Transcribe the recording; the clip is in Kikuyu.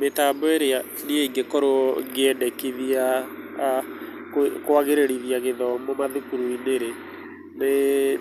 Mĩtambo ĩrĩa niĩ ingĩkorwo ngĩandĩkithia kwagĩrĩrithia gĩthomo mathukuru-inĩ rĩ, nĩ